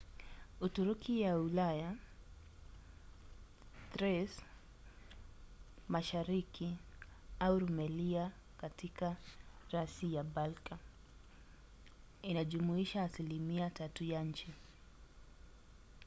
uturuki ya ulaya thrace mashariki au rumelia katika rasi ya balka inajumuisha asilimia 3 ya nchi